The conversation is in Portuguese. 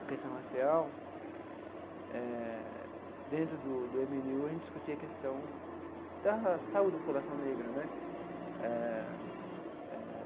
a questão racial eh, dentro do do eme ene u a gente discutia a questão da saúde da população negra, né? Eh eh.